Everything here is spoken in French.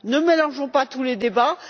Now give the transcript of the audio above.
Ne mélangeons pas tous les débats.